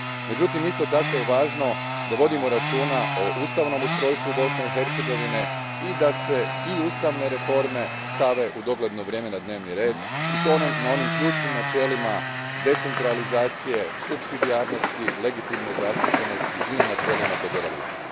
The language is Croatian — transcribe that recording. Međutim, isto tako je važno da vodimo računa o ustavnom ustrojstvu Bosne i Hercegovine i da se i ustavne reforme stave u dogledno vrijeme na dnevni red i to na onim ključnim načelima decentralizacije, supsidijarnosti, legitimne zastupljenosti i na načelima federalizma.